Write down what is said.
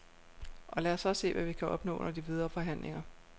Og lad os så se, hvad vi kan opnå under de videre forhandlinger.